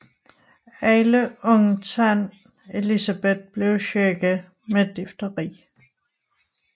Alle undtagen Elisabeth blev syge med difteri